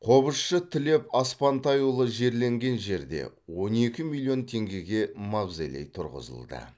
қобызшы тілеп аспантайұлы жерленген жерде он екі миллион теңгеге мавзолей тұрғызылды